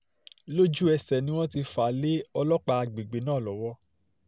lójú-ẹsẹ̀ náà ni wọ́n ti wọ́n ti fà á lé ọlọ́pàá àgbègbè náà lọ́wọ́